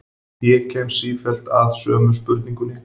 Ég kem sífellt að sömu spurningunni.